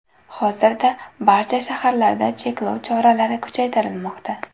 Hozirda barcha shaharlarda cheklov choralari kuchaytirilmoqda.